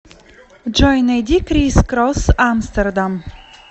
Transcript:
джой найди крис кросс амстердам